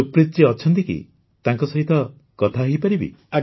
ସୁପ୍ରିତ ଜୀ ଅଛନ୍ତି କି ତାଙ୍କ ସହିତ କଥା ହୋଇପାରିବି